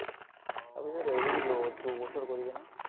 তাৰ পিছত এৰি দিলো, দুবছৰ কৰি ।